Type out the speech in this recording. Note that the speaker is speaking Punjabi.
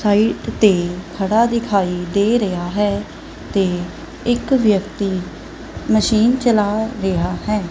ਸਾਈਡ ਤੇ ਖੜਾ ਦਿਖਾਈ ਦੇ ਰਿਹਾ ਹੈ ਤੇ ਇੱਕ ਵਿਅਕਤੀ ਮਸ਼ੀਨ ਚਲਾ ਰਿਹਾ ਹੈ।